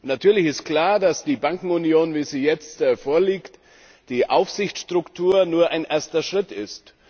Natürlich ist klar, dass die Bankenunion, wie sie jetzt vorliegt, die Aufsichtsstruktur nur ein erster Schritt ist.